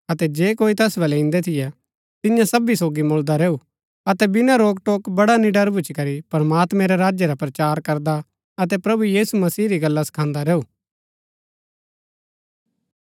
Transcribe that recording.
अतै जे कोई तैस बलै इन्दै थियै तियां सबी सोगी मुळदा रैऊ अतै बिना रोकटोक बड़ा निडर भूच्ची करी प्रमात्मैं रै राज्य रा प्रचार करदा अतै प्रभु यीशु मसीह री गल्ला सखांदा रैऊ